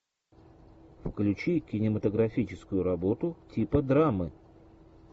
включи кинематографическую работу типа драмы